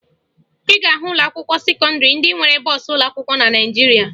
Ị ga-ahụ ụlọakwụkwọ sekọndịrị ndị nwere bọọsụ ụlọakwụkwọ na Naịjirịa